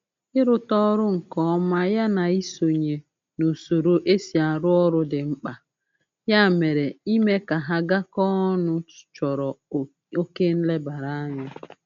Ịrụta ọrụ nke ọma ya na isonye n'usoro e si arụ ọrụ dị mkpa, ya mere ime ka ha gakọọ ọnụ chọrọ oke nlebaranya